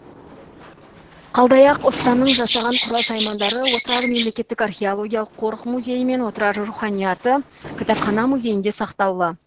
қалдаяқ ұстаның жасаған құрал саймандары отырар мемлекеттік археологиялық корық музейі мен отырар руханияты кітапхана музейінде сақтаулы